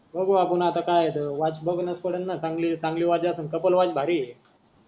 बघू आपण आता काय आहे त वॉच बघनच पडेल न चांगली चांगली वॉच असेल कपल वॉच भारी,